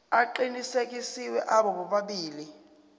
aqinisekisiwe abo bobabili